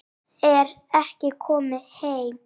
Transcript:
Þar er ég komin heim.